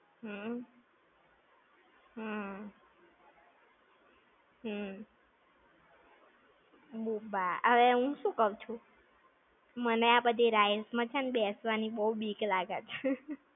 હમ્મ. હમ્મ. હમ્મ. ~Boomba. હવે હું શું કૌ છું, મને આ બધી rides માં છે ને બેસવાની બીક લાગે છે!